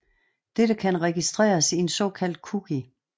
Dette kan registreres i en såkaldt cookie